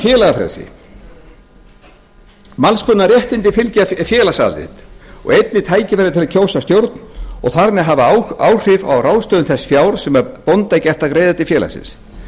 félagafrelsi alls konar réttindi fylgja félagsaðild og einnig tækifæri til að kjósa stjórn og þar með hafa áhrif á ráðstöfun þess fjár sem bónda er gert að greiða til félagsins